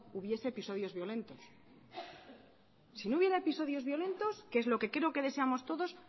hubiese episodio violentos si no hubiera episodios violentos que es lo que creo que deseamos todos